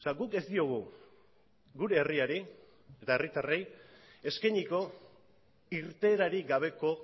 guk ez diogu gure herriari eta herritarrei eskainiko irteerarik gabeko